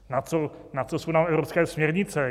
Na co jsou nám evropské směrnice?